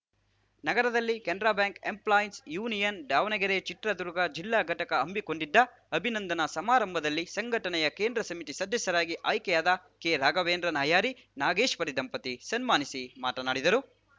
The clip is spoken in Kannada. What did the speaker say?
ನಗರದಲ್ಲಿ ಕೆನರಾ ಬ್ಯಾಂಕ್‌ ಎಂಪ್ಲಾಯೀಸ್‌ ಯೂನಿಯನ್‌ ದಾವಣಗೆರೆಚಿತ್ರದುರ್ಗ ಜಿಲ್ಲಾ ಘಟಕ ಹಮ್ಮಿಕೊಂಡಿದ್ದ ಅಭಿನಂದನಾ ಸಮಾರಂಭದಲ್ಲಿ ಸಂಘಟನೆಯ ಕೇಂದ್ರ ಸಮಿತಿ ಸದಸ್ಯರಾಗಿ ಆಯ್ಕೆಯಾದ ಕೆರಾಘವೇಂದ್ರ ನಾಯರಿ ನಾಗೇಶ್ವರಿ ದಂಪತಿ ಸನ್ಮಾನಿಸಿ ಮಾತನಾಡಿದರು